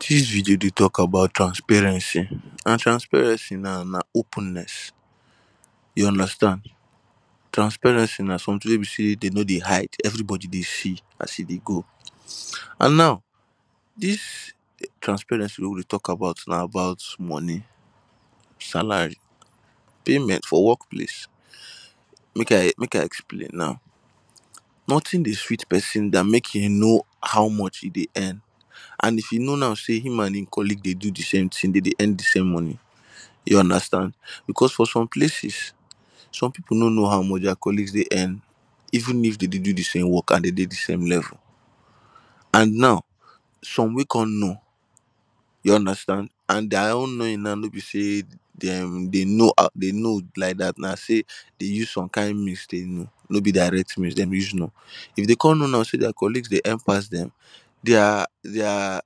Dis video dey talk about transparency and transparency now na openness you understand, transparency na something wey be sey dey no dey hide everybody dey see as e dey go and now if transparency wey we dey talk about na about money, salary, payment for work place make I make I explain now nothing dey sweet person den make e know how much e dey earn and if you know now sey him and e colleague dey do di same thing dey dey di same money you understand because for some places some people know no how much their colleagues dey earn even if dey dey do di same work and dey dey di same level and now some wey come know you understand and their own knowing now no be sey dem dey know um dey know like dat na sey dem use some kind means take know no be direct mean dey use know am, if dey come know now sey their colleagues dey earn pass dem their their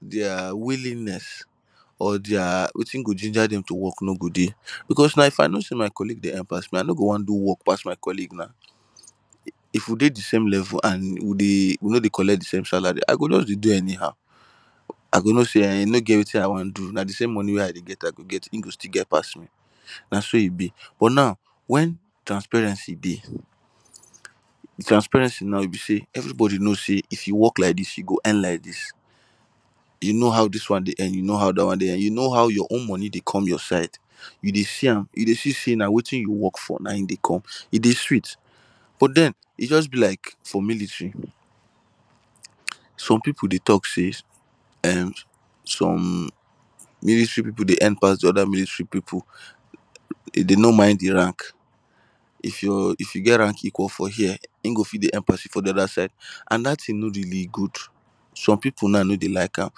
their willingness or their wetin go ginger dem to work no go dey, because if I know sey my colleague dey earn pass me I no go won do work pass my colleague na if we dey di same level and we no dey collect di same salary I go just dey do anyhow I go know sey e no get wetin I won do na di same money wey I dey get I go get e go still get pass me na so e be, but now when transparency dey transparency now wey be sey everybody know sey if you work like dis you go earn, you know how dis one dey earn you know how dat one dey earn, you know how your own money dey come your side you dey see am you dey see sey na wetin you work for na e dey come e dey sweet but den e just be like for military some people dey talk say um some military people dey earn pass di other military people dey no mind di rank if your if you get rank equal for here e go fit dey help people for di other side and dat thing no really good some people now no dey like am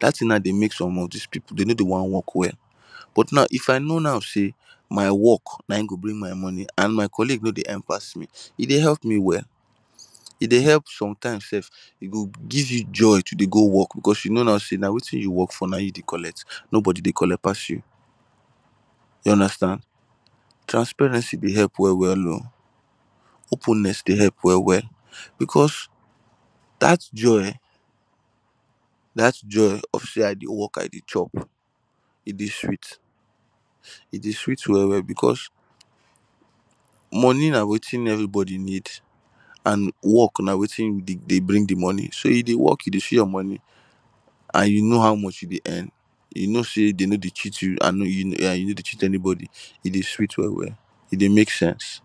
dat thing na dey make somebody of dis people dey no dey won work well but now if I know now sey my work na e go bring my money and my colleague no dey earn pass me e dey help me well, e dey help sometimes self e go give you joy to dey go work because you know now sey na wetin you work for na e you dey collect nobody dey collect pass you you understand, transparency dey work well well oh openness dey help well well because dat joy dat joy of sey I dey work I dey chop e dey sweet e dey sweet well well because money na wetin everybody need and work na wetin dey dey bring dey money so you dey work you dey see you money and you know how much you dey earn, you know sey dey no dey cheat you and you no dey cheat anybody e dey sweet well well e dey make sense